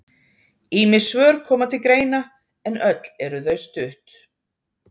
ýmis svör koma til greina en öll eru þau stutt